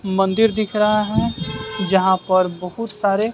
मंदिर दिख रहा हैं जहां पर बहुत सारे--